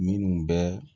Minnu bɛ